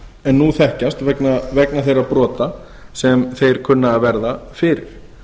en nú þekkjast vegna þeirra brota sem þeir kunna að verða fyrir